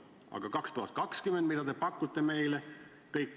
Aga 2020, mida te pakute meile?